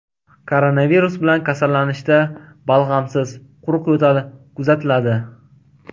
Koronavirus bilan kasallanishda balg‘amsiz, quruq yo‘tal kuzatiladi.